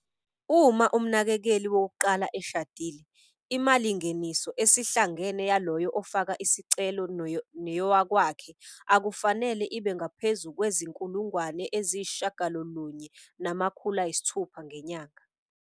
Uma umnakekeli wokuqala eshadile, imalingeniso esihlangene yaloyo ofaka isicelo neyowakwakhe akufanele ibe ngaphezu kwezi-R9 600 ngenyanga.